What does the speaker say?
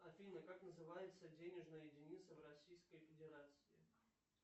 афина как называется денежная единица в российской федерации